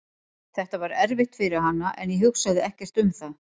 Þetta var erfitt fyrir hana en ég hugsaði ekkert um það.